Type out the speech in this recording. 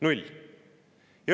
Null!